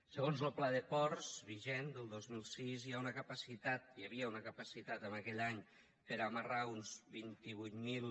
segons lo pla de ports vigent del dos mil sis hi ha una capacitat hi havia una capacitat en aquell any per a amarrar unes vint vuit mil